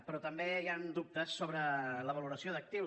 però també hi han dubtes sobre la valoració d’actius